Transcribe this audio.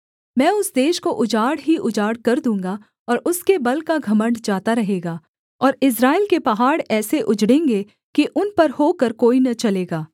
मैं उस देश को उजाड़ ही उजाड़ कर दूँगा और उसके बल का घमण्ड जाता रहेगा और इस्राएल के पहाड़ ऐसे उजड़ेंगे कि उन पर होकर कोई न चलेगा